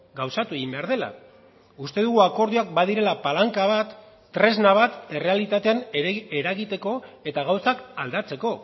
gauzatu egin behar dela uste dugu akordioak badirela palanka bat tresna bat errealitatean eragiteko eta gauzak aldatzeko